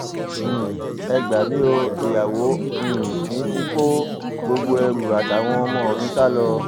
um ẹ gbà mí o ìyàwó um mi ti kó gbogbo ẹrù àtàwọn ọmọ mi sá lọ